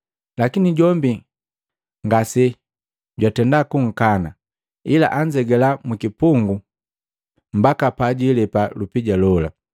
Lakini jombi ngasejwatenda kukana, ila anzegala mukipungu mbaka pajwiilepa lupija lola.